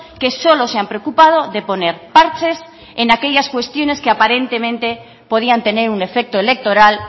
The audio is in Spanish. que solo se han preocupado de poner parches en aquellas cuestiones que aparentemente podían tener un efecto electoral